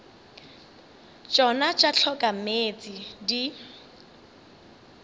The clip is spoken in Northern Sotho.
tšona tša hloka meetse di